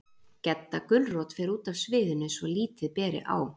Gedda gulrót fer út af sviðinu, svo lítið beri á